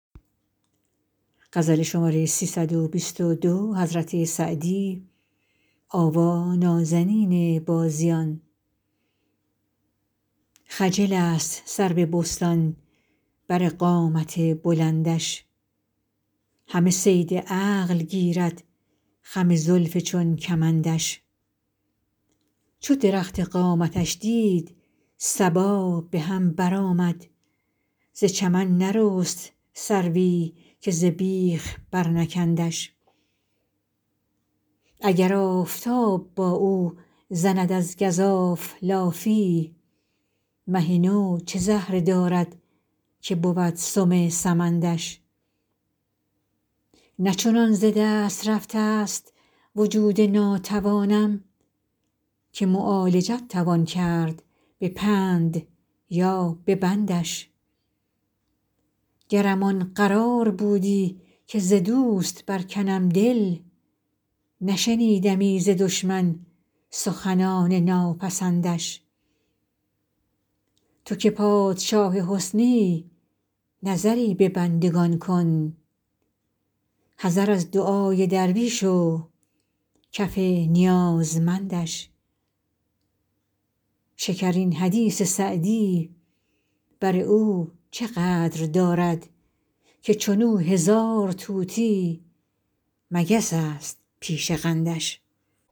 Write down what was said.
خجل است سرو بستان بر قامت بلندش همه صید عقل گیرد خم زلف چون کمندش چو درخت قامتش دید صبا به هم برآمد ز چمن نرست سروی که ز بیخ برنکندش اگر آفتاب با او زند از گزاف لافی مه نو چه زهره دارد که بود سم سمندش نه چنان ز دست رفته ست وجود ناتوانم که معالجت توان کرد به پند یا به بندش گرم آن قرار بودی که ز دوست برکنم دل نشنیدمی ز دشمن سخنان ناپسندش تو که پادشاه حسنی نظری به بندگان کن حذر از دعای درویش و کف نیازمندش شکرین حدیث سعدی بر او چه قدر دارد که چون او هزار طوطی مگس است پیش قندش